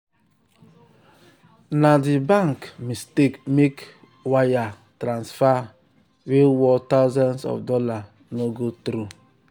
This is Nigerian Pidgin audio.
na the bank mistake make wire transfer wey worth thousands of dollars no go through.